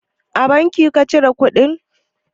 A banki ka cire kuɗi?